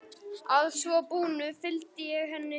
Að svo búnu fylgdi ég henni heim.